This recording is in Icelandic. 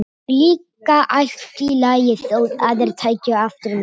Það var líka allt í lagi þótt aðrir tækju eftir mér.